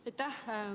Aitäh!